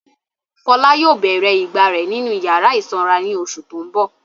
Fọlá yóò bèrè ìgbà rẹ̀ nínú ìyàrá ìsanra ní oṣù tó ń bọ̀.